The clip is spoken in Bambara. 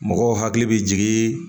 Mɔgɔw hakili bɛ jigi